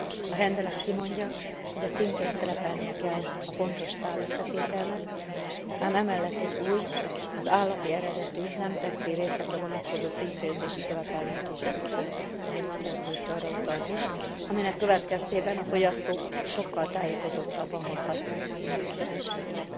A rendelet kimondja, hogy a címkén szerepelnie kell a pontos szálösszetételnek, ám emellett egy új, az állati eredetű, nem textilrészekre vonatkozó címkézési követelményt is bevezet ahogy Manders úr arra utalt is aminek következtében a fogyasztók sokkal tájékozottabban hozhatják majd meg döntéseiket.